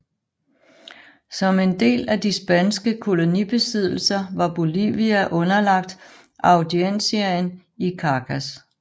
Som en del af de spanske kolonibesiddelser var Bolivia underlagt audienciaen i Charcas